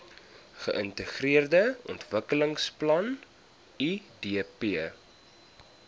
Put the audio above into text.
geintegreerde ontwikkelingsplan idp